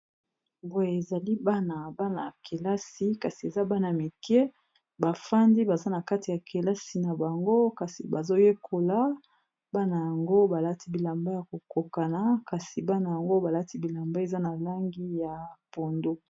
Boye ezali bana ya kelasi, kasi eza bana mike, bavandi baza na kati ya kelasi na bango, kasi bazoyekola, bana yango balati bilamba ya ko kokana, bana yango balati bilamba eza na langi ya pondu.